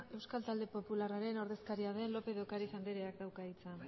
euskal talde popularraren ordezkariaren den lópez de ocariz andereak dauka hitza